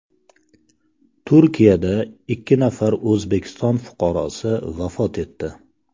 Turkiyada ikki nafar O‘zbekiston fuqarosi vafot etdi.